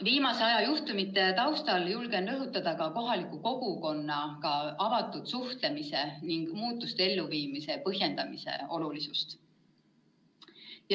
Viimase aja juhtumite taustal julgen rõhutada ka kohaliku kogukonnaga avatud suhtlemise ning muudatuste elluviimise põhjendamise olulisust.